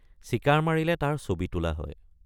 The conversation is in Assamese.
চিকাৰ মৰিলে তাৰ ছবি তোলা হয়।